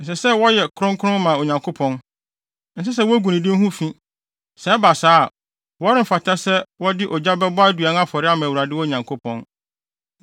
Ɛsɛ sɛ wɔyɛ kronkron ma wɔn Onyankopɔn. Ɛnsɛ sɛ wogu ne din ho fi. Sɛ ɛba saa a, wɔremfata sɛ wɔde ogya bɛbɔ aduan afɔre ama Awurade wɔn Nyankopɔn.